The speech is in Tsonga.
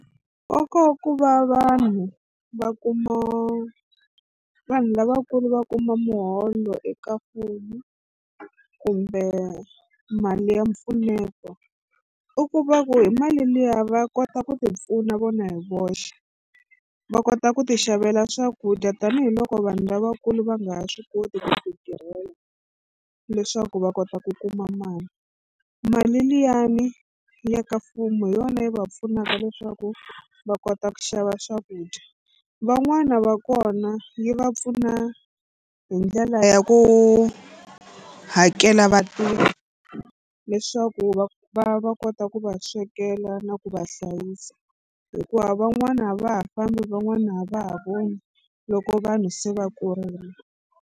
Nkoka wa ku va vanhu va kuma vanhu lavakulu va kuma muholo eka mfumo kumbe mali ya mpfuneto i ku va ku hi mali liya va kota ku tipfuna vona hi voxe. Va kota ku tixavela swakudya tanihiloko vanhu lavakulu va nga ha swi koti ku titirhela leswaku va kota ku kuma mali. Mali liyani ya ka mfumo hi yona yi va pfunaka leswaku va kota ku xava swakudya van'wana va kona yi va pfuna hi ndlela ya ku hakela vatirhi leswaku va va va kota ku va swekela na ku va hlayisa hikuva van'wana a va ha fambi van'wana a va ha voni loko vanhu se va kurile.